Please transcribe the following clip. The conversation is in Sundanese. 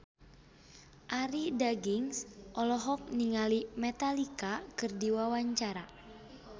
Arie Daginks olohok ningali Metallica keur diwawancara